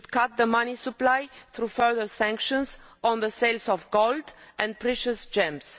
We should cut the money supply through further sanctions on the sales of gold and precious gems.